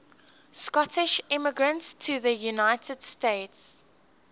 scottish immigrants to the united states